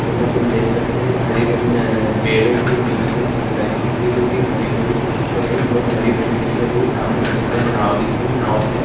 जेसा कि हम देख सकते है हरी-भरी पेड़ो के बिच में नदी दिख रही है जो कि हरी-भरी तो नही बहुत भरी-भरी दिख रही है सामने बहुत सारी नाव दिख रही है नाव के--